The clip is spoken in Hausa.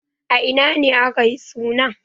A ina ne aka yi suna?